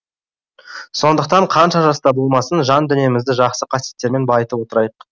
сондықтан қанша жаста болмасын жан дүниемізді жақсы қасиеттермен байытып отырайық